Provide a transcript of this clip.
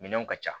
Minɛnw ka ca